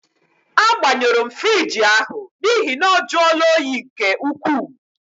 Agbanyuru m fruidge ahụ n'ihi na ọ juola óyi nke ukwuu.